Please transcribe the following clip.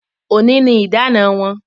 Òní ni idana wọn